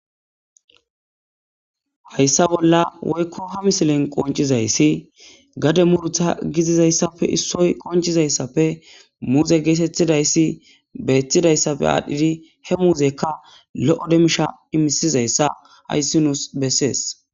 hayssa bolla woykko he misilen qoncizayssi gade murutha gizizayssappe issoy qoncizayssappe muuze geetettidayssi beetidayssappe aadhdhidi he muuzekka lo7o demmisha imisizayssa hayssi nuus bessees